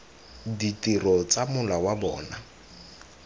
ditiro tsa mola wa bona